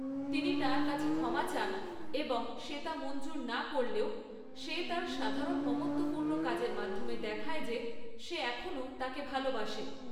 তিনি তার কাছে ক্ষমা চান, এবং সে তা মঞ্জুর না করলেও সে তার সাধারণ মমত্বপূূর্ণ কাজের মাধ্যমে দেখায় যে সে এখনও তাকে ভালোবাসে।